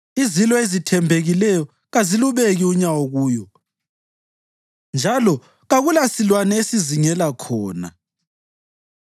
Izilo ezizithembileyo kazilubeki unyawo kuyo, njalo kakulasilwane esizingela khona.